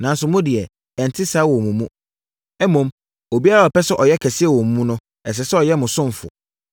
Nanso, mo deɛ, ɛnte saa wɔ mo mu. Mmom, obiara a ɔpɛ sɛ ɔyɛ kɛse wɔ mo mu no, ɛsɛ sɛ ɔyɛ mo ɔsomfoɔ.